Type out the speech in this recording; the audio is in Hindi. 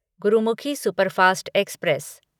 Gurmukhi superfast express